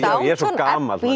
ég er svo gamall nei